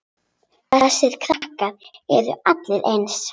Þessir krakkar eru allir eins.